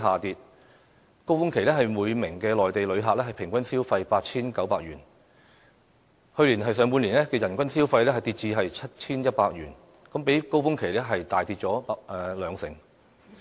於高峰期內，每名內地旅客平均消費 8,900 元，但去年上半年的人均消費，卻下跌至 7,100 元，比高峰期大幅減少大約兩成。